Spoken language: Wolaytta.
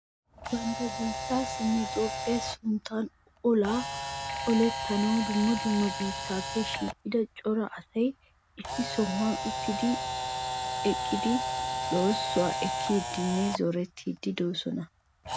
Ba biittaassinne Toophphiya sunttan olaa olettanawu dumma dumma biittaappe shiiqida cora asay issi sohuwan ottidinne eqqidi loohissuwa ekkiiddinne zorettiiddi de'oosona.